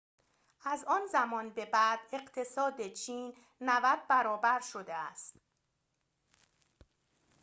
از آن زمان به بعد اقتصاد چین ۹۰ برابر شده است